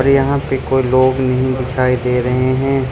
यहां पर कोई लोग नहीं दिखाई दे रहे हैं।